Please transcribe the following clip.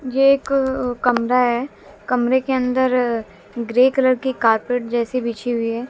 ये एक कमरा है कमरे के अंदर ग्रे कलर की कारपेट जैसी बिछी हुई है।